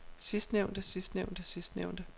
sidstnævnte sidstnævnte sidstnævnte